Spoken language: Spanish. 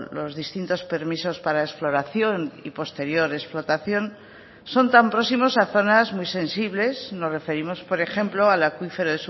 los distintos permisos para exploración y posterior explotación son tan próximos a zonas muy sensibles nos referimos por ejemplo al acuífero